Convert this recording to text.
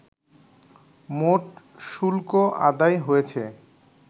মোট শুল্ক আদায় হয়েছে